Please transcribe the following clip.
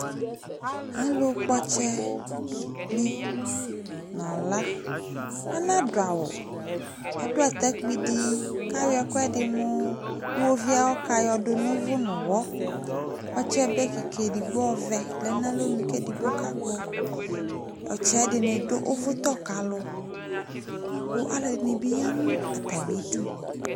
Alʋkpɔ ɔtsɛnɩ nʋ ala Anadʋ awʋ Adʋ atakpui dɩ kʋ ayɔ ɛkʋɛdɩ mʋ iɣoviu ayʋ ɔka yɔdʋ nʋ ʋvʋ nʋ ʋɣɔ Ɔtsɛbe kɩka edigbo ɔvɛ dɩ lɛ nʋ alɔnu kʋ edigbo kakpɔ Ɔtsɛ yɛ ɛdɩnɩ dʋ ʋvʋtɔ ka alʋ kʋ alʋɛdɩnɩ bɩ ya nʋ atamɩdu